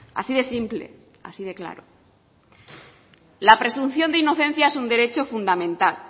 así de simple así de claro la presunción de inocencia es un derecho fundamental